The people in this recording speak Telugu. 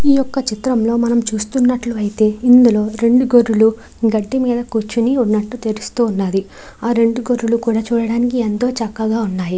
ఈ యొక్క చిత్రంలో మనం చూస్తున్నట్లయితే రెండు గొర్రెలు గడ్డి మీద కూర్చుని ఉన్నట్టే తెలుస్తూ ఉంది. ఆ రెండు గొర్రెలు కూడా చూడడానికి ఎంతో చక్కగా ఉన్నాయి.